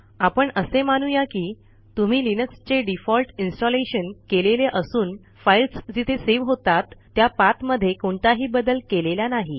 आपण असे मानू या की तुम्ही लिनक्सचे डिफॉल्ट इन्स्टॉलेशन केलेले असून फाईल्स जिथे सेव्ह होतात त्या पाथमध्ये कोणताही बदल केलेला नाही